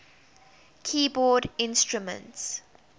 keyboard instruments